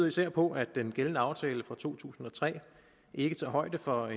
især på at den gældende aftale fra to tusind og tre ikke tager højde for